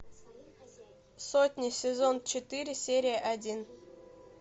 сотня сезон четыре серия один